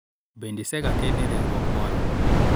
bende isega keno e riwruok moro ?